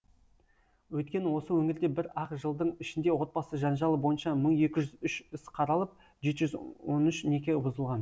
өйткені осы өңірде бір ақ жылдың ішінде отбасы жанжалы бойынша мың екі жүз үш іс қаралып жеті жүз он үш неке бұзылған